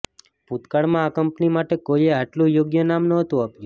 ભૂતકાળમાં આ કંપની માટે કોઈએ આટલું યોગ્ય નામ નહોતું આપ્યું